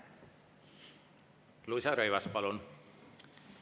Luisa Rõivas, palun!